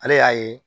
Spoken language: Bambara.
Ale y'a ye